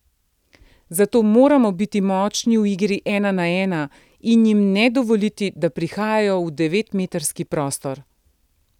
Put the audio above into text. Zato moramo biti močni v igri ena na ena in jim ne dovoliti, da prihajajo v devetmetrski prostor.